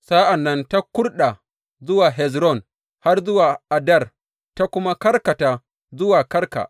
Sa’an nan ta kurɗa zuwa Hezron har zuwa Addar, ta kuma karkata zuwa Karka.